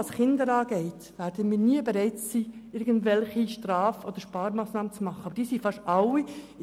Wo Kinder betroffen sind, werden wir nie bereit sein, irgendwelche Straf- oder Sparmassnahmen zu beschliessen.